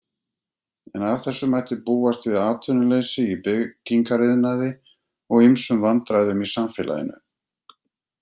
En af þessu mætti búast við atvinnuleysi í byggingariðnaði og ýmsum vandræðum í samfélaginu.